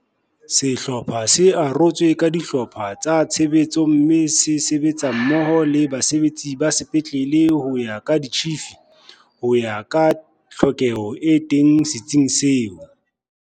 Sehlopha se arotswe ka dihlopha tsa tshebetso mme se sebetsa mmoho le basebetsi ba sepetlele ho ya ka ditjhifi, ho ya ka tlhokeho e teng se tsing seo.